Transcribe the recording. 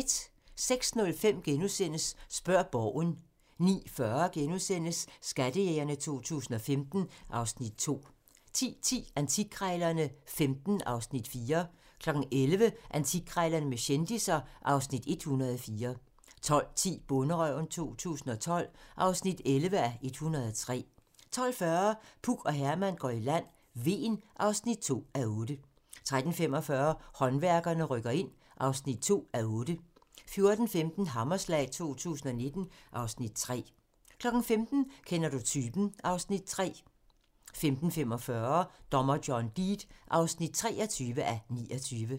06:05: Spørg Borgen * 09:40: Skattejægerne 2015 (Afs. 2)* 10:10: Antikkrejlerne XV (Afs. 4) 11:00: Antikkrejlerne med kendisser (Afs. 104) 12:10: Bonderøven 2012 (11:103) 12:40: Puk og Herman går i land: Hven (2:8) 13:45: Håndværkerne rykker ind (2:8) 14:15: Hammerslag 2015 (Afs. 3) 15:00: Kender du typen? (Afs. 3) 15:45: Dommer John Deed (23:29)